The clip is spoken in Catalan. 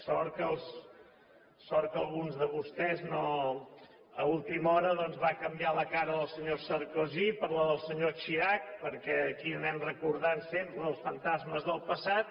sort que algú de vostès a última hora doncs va canviar la cara del senyor sarkozy per la del senyor chirac perquè aquí anem recordant sempre els fantasmes del passat